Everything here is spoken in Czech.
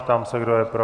Ptám se, kdo je pro.